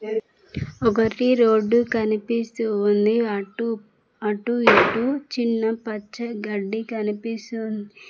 ఒకటి రోడ్డు కనిపిస్తూ ఉంది అటు అటు ఇటు చిన్న పచ్చ గడ్డి కనిపిసు --